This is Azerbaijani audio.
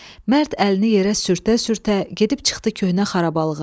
Mərd əlini yerə sürtdə-sürtdə gedib çıxdı köhnə xarabalıqğa.